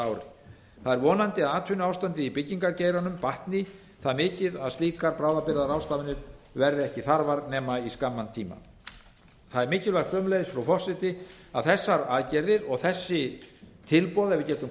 það er vonandi að atvinnuástandið í byggingargeiranum batni það mikið að slíkar bráðabirgðaráðstafanir verði ekki þarfar eða í skamman tíma það er mikilvægt sömuleiðis frú forseti að þessar aðgerðir og þessi tilboð ef við getum